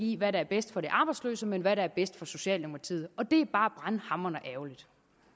i hvad der er bedst for de arbejdsløse men hvad der er bedst for socialdemokratiet og det er bare brandhamrende ærgerligt